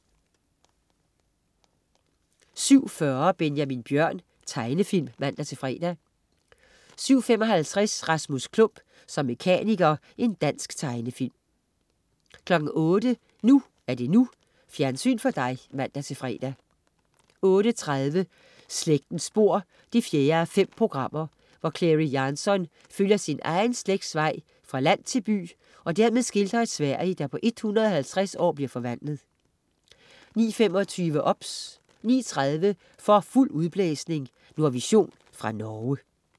07.40 Benjamin Bjørn. Tegnefilm (man-fre) 07.55 Rasmus Klump som mekaniker. Dansk tegnefilm 08.00 NU er det NU. Fjernsyn for dig (man-fre) 08.30 Slægtens spor 4:5 Clary Jansson følger sin egen slægts vej fra land til by og dermed skildrer et Sverige, der på 150 år bliver forvandlet 09.25 OBS 09.30 For fuld udblæsning. Nordvision fra Norge